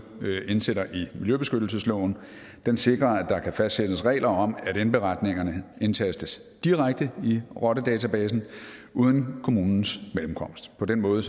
indsætter i miljøbeskyttelsesloven sikrer at der kan fastsættes regler om at indberetningerne indtastes direkte i rottedatabasen uden kommunens mellemkomst på den måde